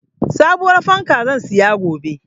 Sabuwar fanka zan siya gobe.